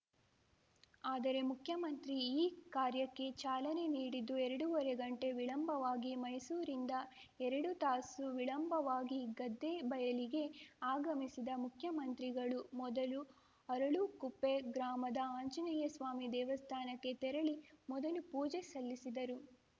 ಆದರೆ ಮುಖ್ಯಮಂತ್ರಿ ಈ ಕಾರ್ಯಕ್ಕೆ ಚಾಲನೆ ನೀಡಿದ್ದು ಎರಡೂವರೆ ಗಂಟೆ ವಿಳಂಬವಾಗಿ ಮೈಸೂರಿಂದ ಎರಡು ತಾಸು ವಿಳಂಬವಾಗಿ ಗದ್ದೆ ಬಯಲಿಗೆ ಆಗಮಿಸಿದ ಮುಖ್ಯಮಂತ್ರಿಗಳು ಮೊದಲು ಅರಳುಕುಪ್ಪೆ ಗ್ರಾಮದ ಆಂಜನೇಯಸ್ವಾಮಿ ದೇನಸ್ಥಾನಕ್ಕೆ ತೆರಳಿ ಮೊದಲು ಪೂಜೆ ಸಲ್ಲಿಸಿದರು